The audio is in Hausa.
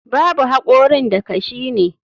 Babu hakorin da kashi ne.